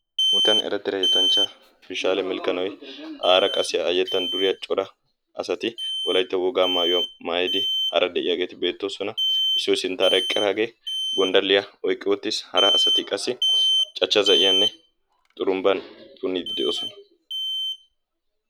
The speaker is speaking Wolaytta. wolaytta eretidda yettanchcha pishanne milkkanoy aara qassi a yettan duriyaa cora asati wolaytta wogaa maayuwaa maayyid aara de'iyaageti beettosona. issoy sinttara eqqidaagee gonddaliya oyqqi uttiis. harati qassi cachcha za; iyanne xurumbba punidde de'oosona.